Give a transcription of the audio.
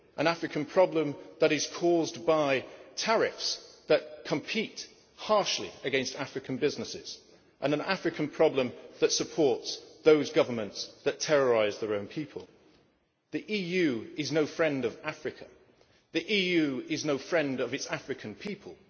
an African problem that is caused by tariffs that compete harshly against African businesses and an African problem that supports those governments that terrorise their own people. The EU is no friend of Africa. The EU is no friend of its African people.